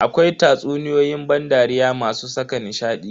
Akwai tatsuniyoyin ban dariya masu saka nishadi.